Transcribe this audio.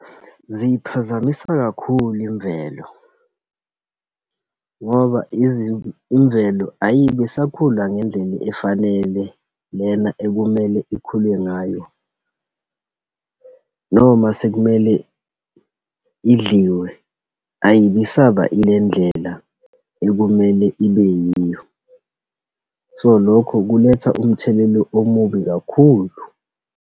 Ziyiphazamisa kakhulu imvelo, ngoba imvelo ayibisakhula ngendlela efanele, lena ekumele ikhule ngayo, noma sekumele idliwe, ayibisaba ilendlela ekumele ibe yiyo. So, lokho kuletha umthelela omubi kakhulu.